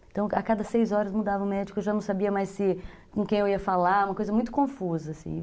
Então a cada seis horas mudava o médico, eu já não sabia mais com quem eu ia falar, uma coisa muito confusa, assim.